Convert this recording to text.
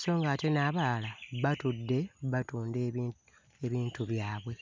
so ng'ate n'abalala batudde batunda ebi... ebintu byabwe.